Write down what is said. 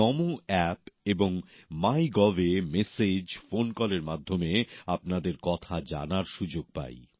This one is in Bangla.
নমো অ্যাপ এবং মাই গভএ মেসেজ ফোন কলের মাধ্যমে আপনাদের কথা জানার সুযোগ পাই